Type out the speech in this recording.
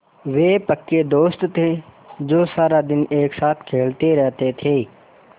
वे पक्के दोस्त थे जो सारा दिन एक साथ खेलते रहते थे